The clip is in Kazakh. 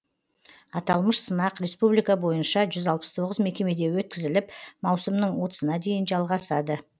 аталмыш сынақ республика бойынша жүз алпыс тоғыз мекемеде өткізіліп маусымның отызына дейін жалғасады